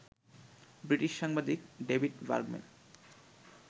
British সাংবাদিক David Bergman